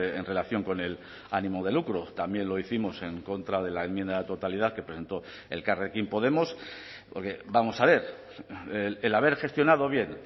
en relación con el ánimo de lucro también lo hicimos en contra de la enmienda a la totalidad que presentó elkarrekin podemos porque vamos a ver el haber gestionado bien